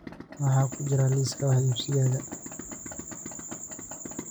maxaa ku jira liiska wax iibsigayga